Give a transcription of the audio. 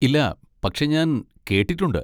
ഇല്ല, പക്ഷെ ഞാൻ കേട്ടിട്ടുണ്ട്.